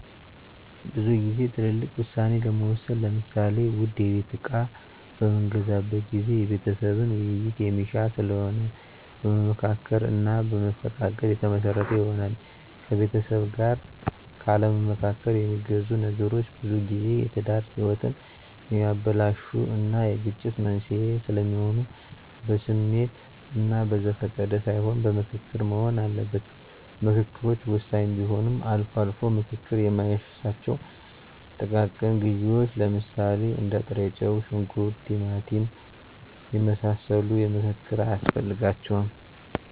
ብዙ ግዜ ትልልቅ ውሳኔ ለመወሰን ለምሳሌ ውድ የቤት እቃ በምገዛበት ጊዜ የቤተሰብን ዉይይት የሚሻ ስለሆነ በመመካከር እና በመፈቃቀድ የተመሰረተ ይሆናል። ከቤተሰብ ጋር ካለማማከር የሚገዙ ነገሮች ብዙጊዜ የትዳር ህይወትን የሚያበላሹ እና የግጭት መንስዔ ስለሚሆኑ በስሜት እና በዘፈቀደ ሳይሆን በምክክር መሆን አለበት። ምከክሮች ወሳኝ ቢሆንም አልፎ አልፎ ምክክር ማይሻቸው ጥቃቅን ግዢዎች ለምሳሌ እንደ ጥሬጨው; ሽንኩርት; ቲማቲም የመሳሰሉ ምክክር አያስፈልጋቸውም።